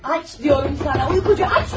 Deyirəm sənə aç, yuxucu, aç bu qapını!